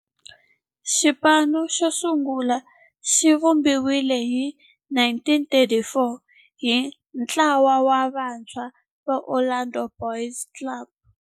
Xipano xosungula xivumbiwile hi 1934 hi ntlawa wa vantshwa va Orlando Boys Club.